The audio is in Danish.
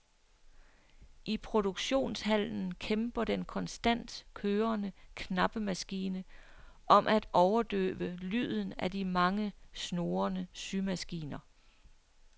I produktionshallen kæmper den konstant kørende knappemaskine om at overdøve lyden af de mange snurrende symaskiner.